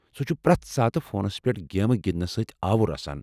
سُہ چُھ پرٛٮ۪تھ ساتہٕ فونس پٮ۪ٹھ گیمہٕ گِندنس سۭتۍ آوُر آسان ۔